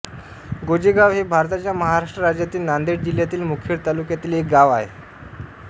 गोजेगाव हे भारताच्या महाराष्ट्र राज्यातील नांदेड जिल्ह्यातील मुखेड तालुक्यातील एक गाव आहे